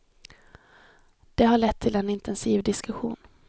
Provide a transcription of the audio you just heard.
Det har lett till en intensiv diskussion.